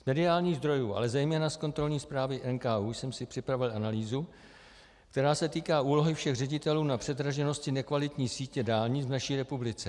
Z mediálních zdrojů, ale zejména z kontrolní zprávy NKÚ jsem si připravil analýzu, která se týká úlohy všech ředitelů na předraženosti nekvalitní sítě dálnic v naší republice.